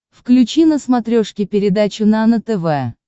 включи на смотрешке передачу нано тв